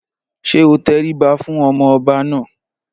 Ṣé o tẹríba fún ọmọ ọba náà?